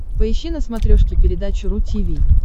поищи на смотрешке передачу ру ти ви